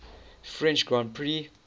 french grand prix